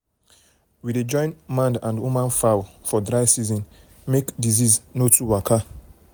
we um dey join man and woman fowl for dry season wey disease no too waka. um